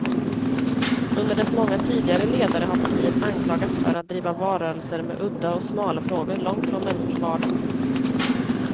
Under dess många tidigare ledare har partiet anklagats för att driva valrörelser med udda och smala frågor, långt från människors vardag.